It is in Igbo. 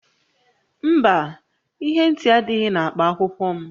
Mba, ihe ntị adịghị na akpa akwụkwọ m